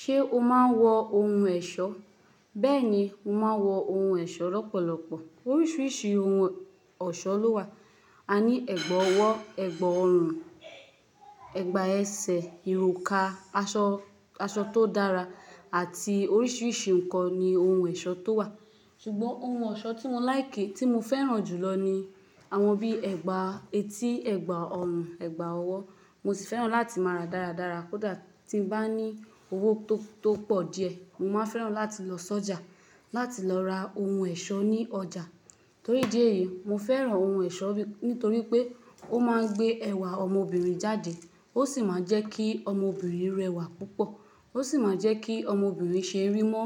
Ṣé o máa ń wọ ohun ẹ̀ṣọ́? Bẹ́ẹ̀ni, mo máa ń wọ ohun ẹ̀ṣọ́ lọ́pọ̀lọpọ̀. Oríṣiríṣi ohun ọ̀ṣọ́ ló wà. A ní ẹ̀gbà ọwọ́, ẹ̀gbà ọrùn, ẹ̀gbà ẹsẹ̀, ìroka, aṣọ, aṣọ tó dára àti oríṣiríṣi ǹkan ni ohun ẹ̀ṣọ́ tó wà. Ṣùgbọ́n ohun ọ̀ṣọ́ tí mo láìki, tí mo fẹ́ràn jù lọ ni àwọn bí ẹ̀gbà etí, ẹ̀gbà ọrùn, ẹ̀gbà ọwọ́. Mo sì fẹ́ràn láti máa ra dáradára. Kódà tí mo bá ní owó tó pọ̀ díẹ̀, mo máa fẹ́ràn láti lọ sọ́jà láti lọ ra ohun ẹ̀ṣọ́ ní ọjà. Torí idí èyí, mo fẹ́ràn ohun ẹ̀ṣọ́ bí, nítorí pé ó máa ń gbé ẹwà ọmọbìnrin jáde. Ó sì máa ń jẹ́ kí ọmọbìnrin rẹwà púpọ̀. Ó sì máa ń jẹ́ kí ọmọbìnrin ṣe rí mọ́,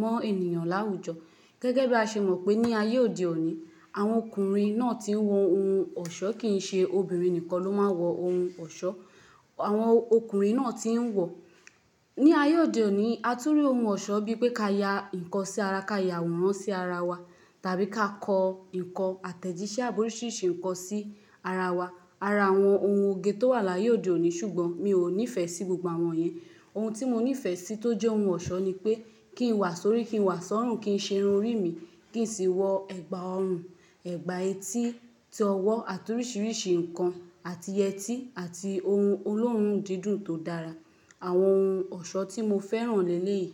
mọ́ ènìyàn láwùjọ. Gẹ́gẹ́ bí a ṣe mọ̀ pé ní ayé òde òní, àwọn ọkùnrin náà tí ń wọ ohun ọ̀ṣọ́ kì ń ṣe obìnrin nìkan ló máa ń wọ ohun ọ̀ṣọ́. Àwọn ọkùnrin náà tí ń wọ. Ní ayé òde òní, a tún rí ohun ọ̀ṣọ́ bíi pé ká ya ǹkan sí ara, ká ya àwòrán sí ara wa, tàbí ká kọ ǹkan àtẹ̀jíṣẹ́ àbi oriṣìriṣì ǹkan sí ara wa. Ara àwọn ohun oge tó wà láyé òde òní, ṣùgbọ́n mi ò nífẹ̀ẹ́ sí gbogbo àwọn yen. Ohun tí mo nífẹ̀ẹ́ sí tó jẹ́ ohun ọ̀ṣọ́ ni pé kí n wà sórí, kí n wà sọ́rùn, kí ń ṣe irun rí mi, kí n sì wọ ẹ̀gbà ọrùn, ẹ̀gbà etí, ti ọwọ́ àti oríṣiríṣi ǹkan àti yẹtí àti ohun olóòórùn dídùn tó dára. Àwọn ohun ọ̀ṣọ́ tí mo fẹ́ràn lẹ́léèyí.